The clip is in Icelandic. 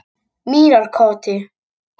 Mýrarkoti